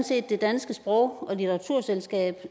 set det danske sprog og litteraturselskab